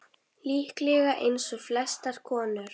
Líklega eins og flestar konur.